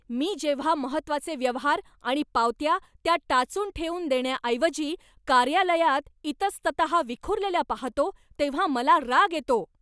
मी जेव्हा महत्त्वाचे व्यवहार आणि पावत्या, त्या टाचून ठेवून देण्याऐवजी कार्यालयात इतस्तत विखुरलेल्या पाहतो तेव्हा मला राग येतो.